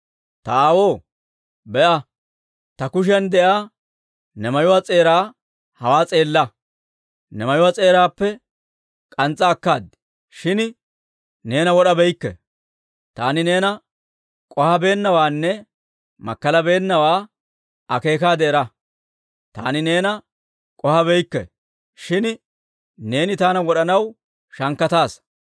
Ta aawoo, be'a; ta kushiyan de'iyaa ne mayuwaa s'eeraa hawaa s'eella! Ne mayuwaa s'eeraappe k'ans's'a akkaad; shin neena wod'abeykke; taani neena k'ohabeennawaanne makkalabeennawaa akeekaade era; taani neena k'ohabeykke; shin neeni taana wod'anaw shankkataasa.